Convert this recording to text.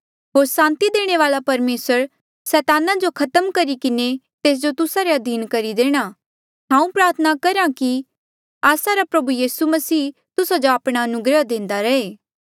होर सांति देणे वाल्आ परमेसर सैताना जो खत्म करी किन्हें तेस जो तुस्सा रे अधीन करी देणा हांऊँ प्रार्थना करहा कि आस्सा रा प्रभु यीसू मसीह तुस्सा जो आपणा अनुग्रह देंदा रहे